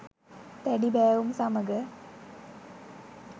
දැඩි බෑවුම් සමග